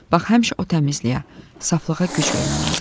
Bax həmişə o təmizliyə, saflığa güc vermək lazımdır.